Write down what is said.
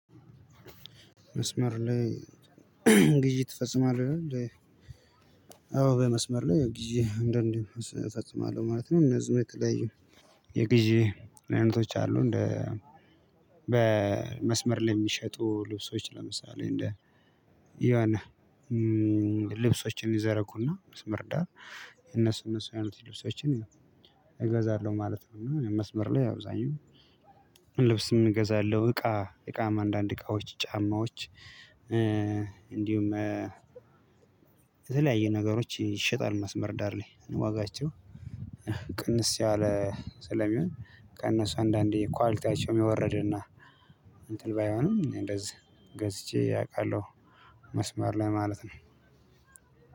መስመር ላይ ግዢ ትፈጽማለህ ነው እንዴ አዎ በመስመር ላይ ግዢ አንዳንዴ እፈጽማለሁ ማለት ነው ንደዚሁም የተላዩ የግዢ አይነቶች አሉ። እንደ በመስመር ላይ የሚሸጡ ልብሶች ለምሳሌ እንደ የሆነ ልብሶችን ይዘረጉና መስመር ዳር እነሱ እነሱ ያሉትን ልብሶችን ያው እገዛለሁ ማለት ነው፤ እና ያው መስመር ላይ አብዛኛው ልብስም እገዛለሁ እቃ እቃም አንዳንድ እቃዎች ጫማዎች እንዲሁም የተለያየ ነገሮች ይሸጣሉ መስመር ዳር ላይ ዋጋቸው ቅንስ ያለ ስለሚሆን ከእነሱ አንዳንዴ ኳሊቲያቸውም የወረደና እንትን ባይሆንም እንደዚህ ገዝቼ አውቃለሁ መስማር ለማለት ነው።